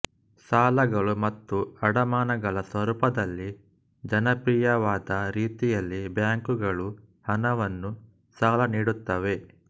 ಸಾಲಗಳು ಮತ್ತು ಅಡಮಾನಗಳ ಸ್ವರೂಪದಲ್ಲಿ ಜನಪ್ರಿಯವಾದ ರೀತಿಯಲ್ಲಿ ಬ್ಯಾಂಕುಗಳು ಹಣವನ್ನು ಸಾಲನೀಡುತ್ತವೆ